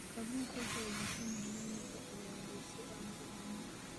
Kalluunku waxa uu u baahan yahay in la ilaaliyo si aanu u lumin.